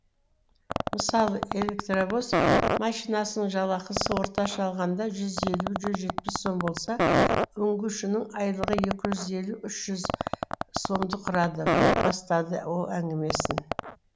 мысалы электровоз машинисінің жалақысы орташа алғанда жүз елу жүз жетпіс сом болса үңгушінің айлығы екі жүз елу үш жүз сомды құрады деп бастады ол әңгімесін